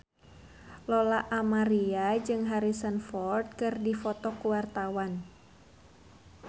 Lola Amaria jeung Harrison Ford keur dipoto ku wartawan